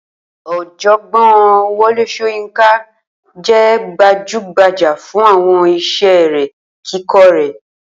Ò̩jò̩gbó̩n Wo̩lé S̩óyínká jé̩ gbajúgbajà fún àwo̩n is̩é̩ eré kíko̩ rè̩